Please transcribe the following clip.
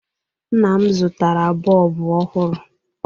Nna m zụtara bọlbụ ọhụrụ.